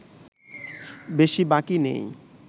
বেশি বাকি নেই